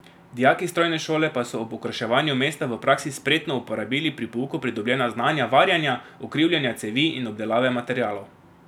Dijaki strojne šole pa so ob okraševanju mesta v praksi spretno uporabili pri pouku pridobljena znanja varjenja, ukrivljanja cevi in obdelave materialov.